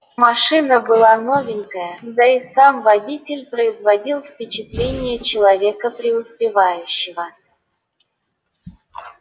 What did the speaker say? машина была новенькая да и сам водитель производил впечатление человека преуспевающего